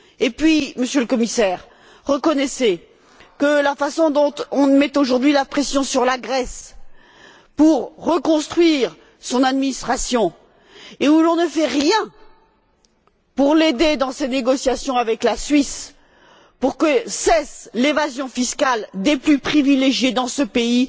Puis, Monsieur le Commissaire, reconnaissez que la façon dont on met, aujourd'hui, la pression sur la Grèce pour qu'elle reconstruise son administration, alors que rien n'est fait pour l'aider dans ses négociations avec la Suisse, pour que cesse l'évasion fiscale des plus privilégiés dans ce pays,